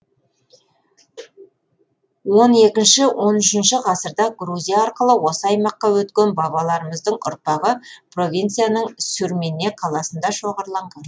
он екінші он үшінші ғасырда грузия арқылы осы аймаққа өткен бабаларымыздың ұрпағы провинцияның сюрмене қаласында шоғырланған